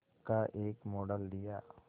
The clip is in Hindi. का एक मॉडल दिया